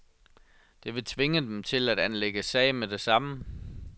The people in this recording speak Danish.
Det vil tvinge dem til at anlægge sag med det samme.